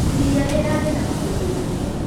Ĩrĩa rĩrarĩ na makũbĩ manene.